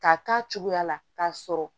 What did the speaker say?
K'a k'a cogoya la k'a sɔrɔ